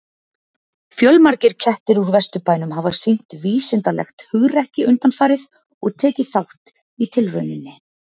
Fjölmargir kettir úr Vesturbænum hafa sýnt vísindalegt hugrekki undanfarið og tekið þátt í tilrauninni.